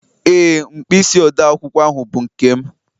Ee, mkpịsị odee akwụkwọ ahụ bụ nke m